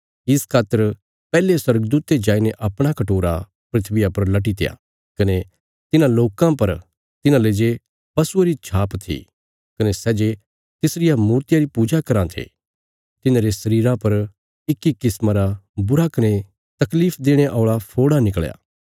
इस खातर पैहले स्वर्गदूते जाईने अपणा कटोरा धरतिया पर लटीत्या कने तिन्हां लोकां पर तिन्हाले जे पशुये री छाप थी कने सै जे तिसरिया मूर्तिया री पूजा कराँ थे तिन्हांरे शरीरा पर इक्की किस्मा रा बुरा कने तकलीफ देणे औल़ा फोड़ा निकल़या